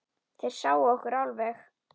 Þeir sáu okkur alveg!